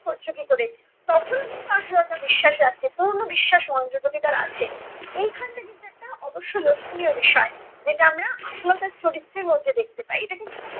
করছ কী করে? তখনও কিন্তু আশালতা বিশ্বাস রাখছে, পুরনো বিশ্বাস মহেন্দ্রের প্রতি তার আছে। এইখানটায় কিন্তু একটা অবশ্য লক্ষণীয় বিষয়। যেটা আমরা আশালতার চরিত্রের মধ্যে দেখতে পাই। এটা কিন্তু কোনো